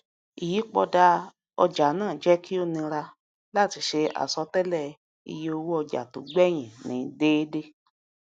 ìyípadà ọjà náà jẹ kí ó nira láti ṣe àsọtéélẹ ìye owó ọjà tó gbẹyìn ní dẹédé